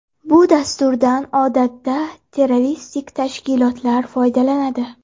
Bu dasturdan odatda terroristik tashkilotlar foydalanadi.